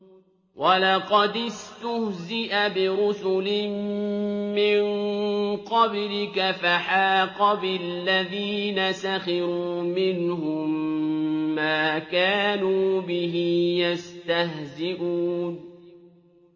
وَلَقَدِ اسْتُهْزِئَ بِرُسُلٍ مِّن قَبْلِكَ فَحَاقَ بِالَّذِينَ سَخِرُوا مِنْهُم مَّا كَانُوا بِهِ يَسْتَهْزِئُونَ